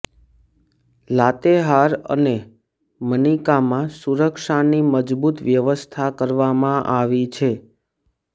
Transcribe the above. લાતેહાર અને મનિકામાં સુરક્ષાની મજબૂત વ્યવસ્થા કરવામાં આવી છે